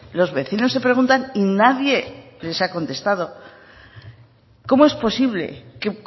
los vecinos se preguntan y nadie les ha contestado cómo es posible que